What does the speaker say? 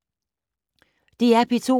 DR P2